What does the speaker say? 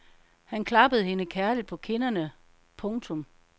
Han klappede hende kærligt på kinderne. punktum